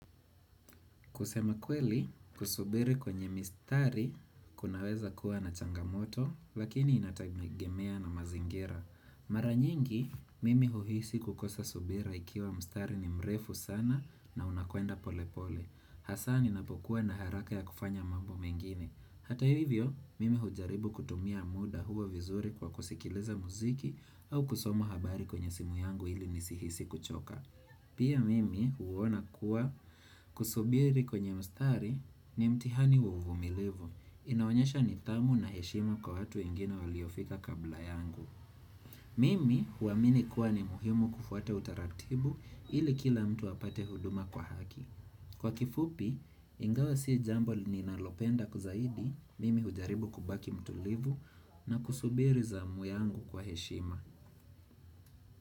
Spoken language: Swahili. Kusema kweli, kusubiri kwenye mistari kunaweza kuwa na changamoto, lakini inatagemea na mazingira. Mara nyingi, mimi huhisi kukosa subira ikiwa mstari ni mrefu sana na unakwenda pole pole. Hasaa ninapokuwa na haraka ya kufanya mambo mengine. Hata hivyo, mimi hujaribu kutumia muda huo vizuri kwa kusikiliza muziki au kusomo habari kwenye simu yangu ili nisihisi kuchoka. Pia mimi huona kuwa kusubiri kwenye mstari ni mtihani wa uvumilivu. Inaonyesha nitamu na heshima kwa watu wengine waliofika kabla yangu. Mimi huamini kuwa ni muhimu kufuata utaratibu ili kila mtu apate huduma kwa haki. Kwa kifupi, ingawa si jambo ni nalopenda kuzahidi, mimi hujaribu kubaki mtulivu na kusubiri zamu yangu kwa heshima.